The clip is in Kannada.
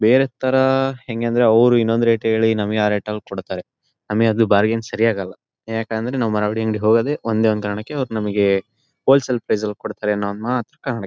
ಬೇರೆ ತರ ಹೆಂಗೆ ಅಂದ್ರೆ ಅವ್ರು ಇನ್ನೊಂದ್ ರೇಟ್ ಹೇಳಿ ನಮಗೆ ಆ ರೇಟ್ ಲ್ ಕೊಡ್ತಾರೆ. ನಮಗೆ ಅದು ಬಾರ್ಗೈನ್ ಸರಿ ಆಗಲ್ಲ ಯಾಕಂದ್ರೆ ನಾವು ಮಾರವಾಡಿ ಅಂಗಡಿಗೆ ಹೋಗೋದೇ ಒಂದೇ ಒಂದ್ ಕಾರಣಕ್ಕೆ ಅವ್ರು ನಮಗೆ ಹೊಲಸೆಲ್ ಪ್ರೈಸ್ ಲ್ ಕೊಡ್ತಾರೆ ಅನ್ನೋ ಒಂದ್ ಮಾತ್ರ ಕಾರಣಕ್ಕೆ--